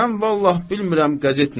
Mən vallah bilmirəm qəzet nədir.